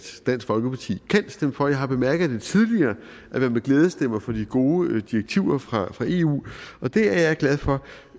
dansk folkeparti kan stemme for jeg har bemærket tidligere at man med glæde stemmer for de gode direktiver fra eu og det er jeg glad for